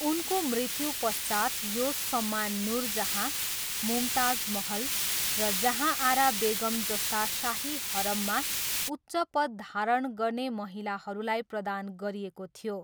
उनको मृत्युपश्चात् यो सम्मान नुरजहाँ, मुमताज महल र जहाँआरा बेगम जस्ता शाही हरममा उच्च पद धारण गर्ने महिलाहरूलाई प्रदान गरिएको थियो।